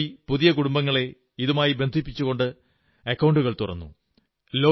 മുപ്പതുകോടി പുതിയ കുടുംബങ്ങളെ ഇതുമായി ബന്ധിപ്പിച്ചു ബാങ്ക് അക്കൌണ്ടുകൾ തുറന്നു